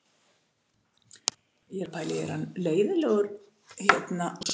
Verð ég rekinn?